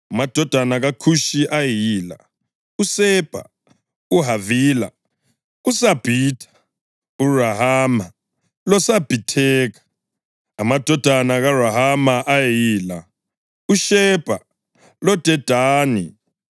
Amadodana kaKhushi ayeyila: uSebha, uHavila, uSabhitha, uRahama loSabhitheka. Amadodana kaRahama ayeyila: uShebha loDedani.